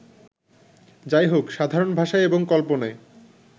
যাইহোক, সাধারণ ভাষায় এবং কল্পনায়